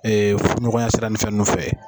Ee ɲɔgɔnya sira ni fɛ dɔ fɛ.